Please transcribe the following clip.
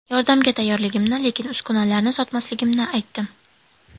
Yordamga tayyorligimni, lekin uskunalarni sotmasligimni aytdim.